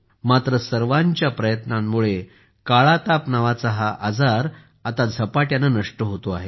मात्र सर्वांच्या प्रयत्नांमुळे काळा ताप नावाचा हा आजार आता झपाट्याने नष्ट होतो आहे